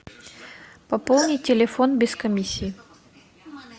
пополнить телефон без комиссии